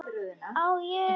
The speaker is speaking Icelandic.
Á ég.?